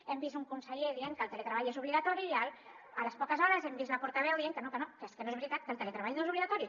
hem vist un conseller dient que el teletreball és obligatori i a les poques hores hem vist la portaveu dient que no que no que és que no és veritat que el teletreball no és obligatori